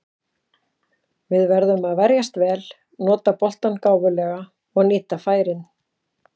Við verðum að verjast vel, nota boltann gáfulega og nýta færin.